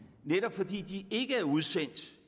netop fordi de ikke er udsendt